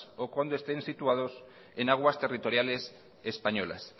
o cuando estén situados en aguas territoriales españolas